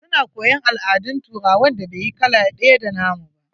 Su na koyon al'adun turawan da bai yi kala ɗaya da nna mu ba.